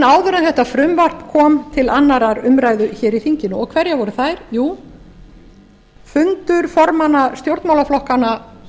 áður en þetta frumvarp kom til annarrar umræðu hér í þinginu og hverjar voru þær jú fundur formanna stjórnmálaflokkanna